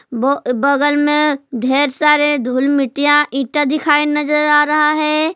ब बगल में ढेर सारे धूल मिट्टीया ईटा दिखाई नजर आ रहा है।